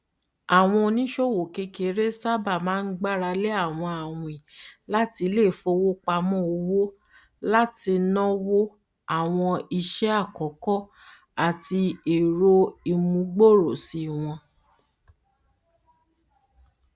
àwọn oníṣòwò kékeré sábà máa gbaralé àwọn awin láti iléifowopamọ òwò láti nónwo àwọn iṣẹ àkọkọ àti èrò ìmúgbòròṣí wọn